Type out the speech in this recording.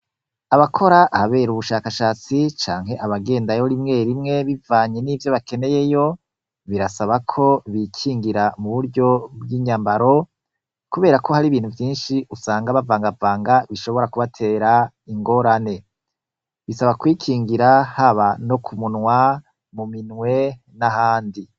Abakora ahabera ubushakashatsi canke abagendayo rimwe rimwe bivanye nivyo bakeneyeyo, birasaba ko bikingira mu buryo bw'inyambaro, kubera ko hari ibintu vyinshi usanga bavangavanga bishobora kubatera ingorane. Bisaba kwikingira haba no ku munwa, mu minwe, n'ahandi.